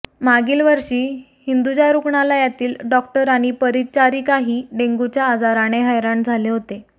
मागील वर्षी हिंदुजा रुग्णालयातील डॉक्टर आणि परिचारिकाही डेंग्यूच्या आजाराने हैराण झाले होते